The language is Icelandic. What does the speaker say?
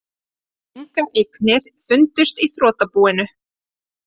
Engar eignir fundust í þrotabúinu